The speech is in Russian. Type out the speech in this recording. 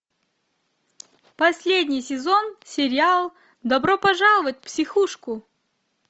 последний сезон сериал добро пожаловать в психушку